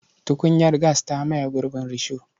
Tukunyar gas ta maye gurbin risho.